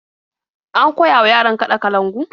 An koya wa yaran kaɗa kalangu.